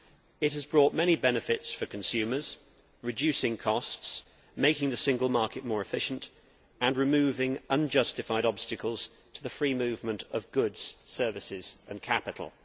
It has brought many benefits for consumers reducing costs, making the single market more efficient and removing unjustified obstacles to the free movement of goods, services and capital.